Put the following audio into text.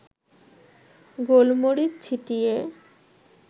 গোলমরিচ ছিটিয়ে